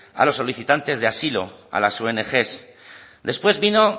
a los solicitantes de asilo a las ong después vino